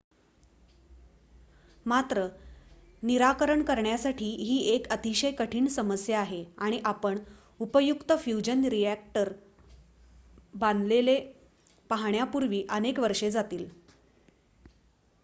मात्र निराकरण करण्यासाठी ही एक अतिशय कठीण समस्या आहे आणि आपण उपयुक्त फ्युजन रिॲक्टर बांधलेले पाहण्यापूर्वी अनेक वर्षे जातील